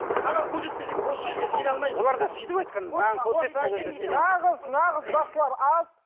маған көрсетпесең бос сөзге сене алмаймын оларда сөйтіп айтқан маған көрсет сол кезде сенемін нағыз нағыз бақсылар аз